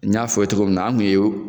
N y'a f'ɔ i ye togo min an kun ye o